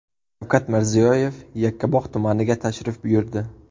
Shavkat Mirziyoyev Yakkabog‘ tumaniga tashrif buyurdi.